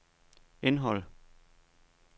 indhold